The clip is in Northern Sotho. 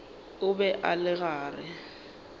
o be a le gare